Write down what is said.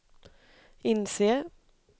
inser